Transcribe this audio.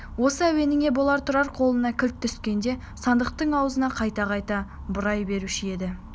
осы әуеніне бола тұрар қолына кілт түскенде сандықтың аузын қайта-қайта бұрай беруші еді